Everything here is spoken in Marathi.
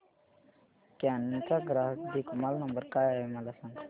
कॅनन चा ग्राहक देखभाल नंबर काय आहे मला सांग